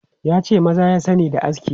Ya ce maza ya sani da aski.